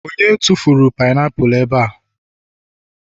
onye tufuru painiapulu ebe?